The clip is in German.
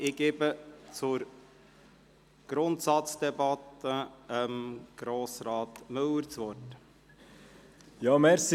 Ich gebe für die Grundsatzdebatte Grossrat Müller das Wort.